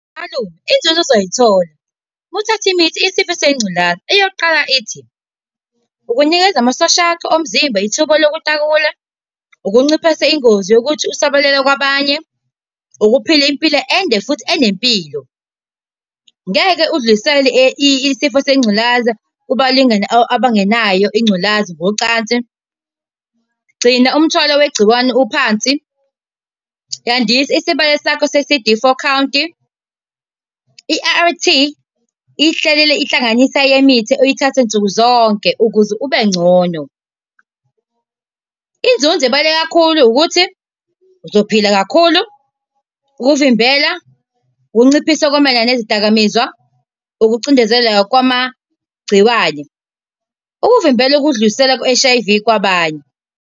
Malume, inzuzo ozoy'thola muthatha imithi yesifo sengculaza. Eyokuqala ithi, ukunikeza amasosha akho omzimba ithuba lokutakula, ukunciphisa ingozi yokuthi usabalale kwabanye, ukuphila impilo ende, futhi enempilo. Ngeke usidlulisele isifo sengculaza kubalingani abangenayo ingculazi, ngocansi. Gcina umthwalo wegciwane uphansi, yandisa isibalo sakho se-C_D four count. I-A_R_T ihlelelwe ihlanganisa yemithi oyithatha nsuku zonke ukuze ube ngcono. Inzuzo ebaluleke kakhulu ukuthi, uzophila khulu, ukuvimbela, ukunciphisa okumayelana nezidakamizwa, ukucindezela kwamagciwane. Ukuvimbela ukudlulisela i-H_I_V kwabanye.